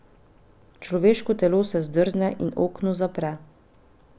Človeško telo se zdrzne in okno zapre.